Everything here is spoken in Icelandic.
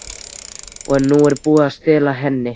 OG NÚ ER BÚIÐ AÐ STELA HENNI!